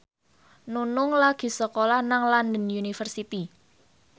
Nunung lagi sekolah nang London University